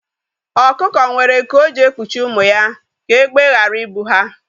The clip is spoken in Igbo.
Ọkụkọ nwere nku o ji ekpuchi ụmụ ya ka egbe ghara I bụ ha